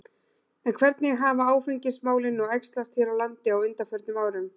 En hvernig hafa áfengismálin nú æxlast hér á landi á undanförnum árum?